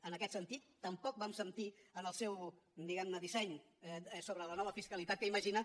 en aquest sentit tampoc vam sentir en el seu diguemne disseny sobre la nova fiscalitat que imagina